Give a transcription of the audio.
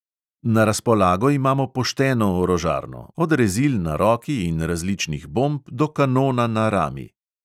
Na razpolago imamo pošteno orožarno, od rezil na roki in različnih bomb do kanona na rami.